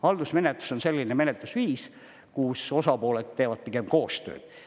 Haldusmenetlus on selline menetlusviis, kus osapooled teevad pigem koostööd.